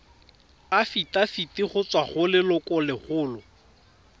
afitafiti go tswa go lelokolegolo